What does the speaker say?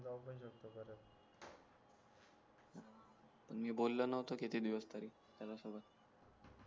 पण मी बोलो नव्हतो किती दिवस तरी त्याला सोबत